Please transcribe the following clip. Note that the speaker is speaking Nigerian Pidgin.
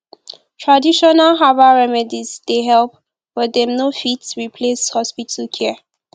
traditional herbbal remedies dey help but dem no fit replace hospital care